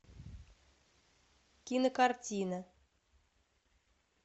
кинокартина